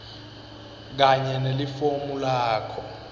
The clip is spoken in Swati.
kanye nelifomu lakho